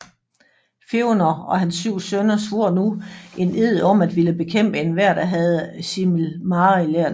Fëanor og hans syv sønner svor nu en ed om at ville bekæmpe enhver der havde Silmarillerne